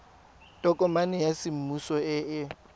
tokomane ya semmuso e e